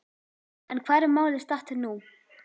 En hvar er málið statt nú?